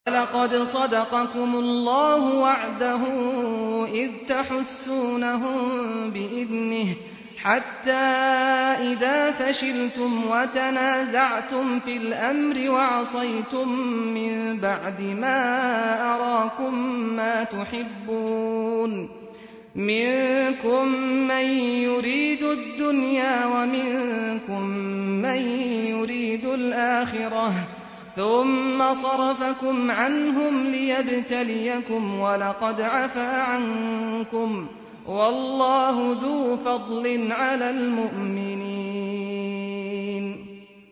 وَلَقَدْ صَدَقَكُمُ اللَّهُ وَعْدَهُ إِذْ تَحُسُّونَهُم بِإِذْنِهِ ۖ حَتَّىٰ إِذَا فَشِلْتُمْ وَتَنَازَعْتُمْ فِي الْأَمْرِ وَعَصَيْتُم مِّن بَعْدِ مَا أَرَاكُم مَّا تُحِبُّونَ ۚ مِنكُم مَّن يُرِيدُ الدُّنْيَا وَمِنكُم مَّن يُرِيدُ الْآخِرَةَ ۚ ثُمَّ صَرَفَكُمْ عَنْهُمْ لِيَبْتَلِيَكُمْ ۖ وَلَقَدْ عَفَا عَنكُمْ ۗ وَاللَّهُ ذُو فَضْلٍ عَلَى الْمُؤْمِنِينَ